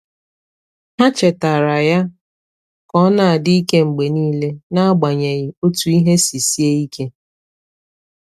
Há chètààrà yá kà ọ nà-ádị́ íké mgbè níílé, n’ágbànyéghị́ ótú ìhè sì síé íké.